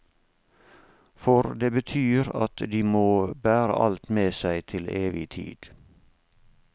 For det betyr at de må bære alt med seg til evig tid.